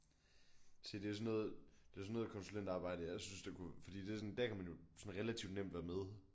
Se det sådan noget det er jo sådan noget konsulentarbejde jeg synes der kunne fordi det sådan der kan man jo sådan relativt nemt være med